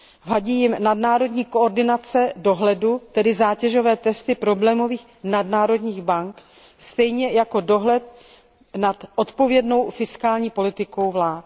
Vadí jim nadnárodní koordinace dohledu, tedy zátěžové testy problémových nadnárodních bank, stejně jako dohled nad odpovědnou fiskální politikou vlád.